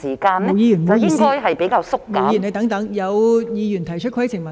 毛孟靜議員，請稍停，有議員擬提出規程問題。